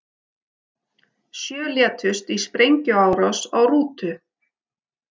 Sjö létust í sprengjuárás á rútu